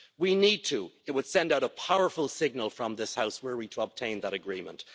We need to it would send out a powerful signal from this House, were we to obtain that agreement.